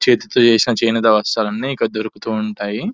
చేతితో వేసిన చేనేత వస్త్రాలు అన్ని ఇక్కడ దొరుకుతూ ఉంటాయి --